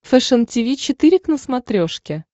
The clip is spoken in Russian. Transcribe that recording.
фэшен тиви четыре к на смотрешке